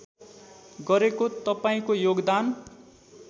गरेको तपाईँको योगदान